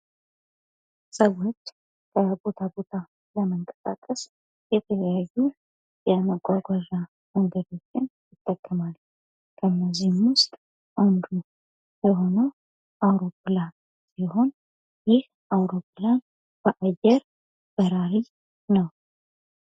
ሰዎች ከቦታ ቦታ የመንቀሳቀስ የተለያዩ የመጓጓዣ መንገዶችን ይጠቀማሉ። ከእነዚህም ውስጥ አንዱ የሆነው አውሮፕላን ሲሆን፤ ይህ አውሮፕላን በአየር በራሪ ነው።